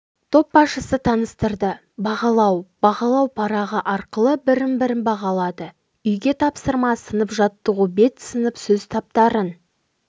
топбасшысы таныстырды бағалау бағалау парағы арқылы бірін-бірі бағалады үйге тапсырма сынып жаттығу бет сынып сөз таптарын